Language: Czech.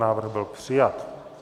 Návrh byl přijat.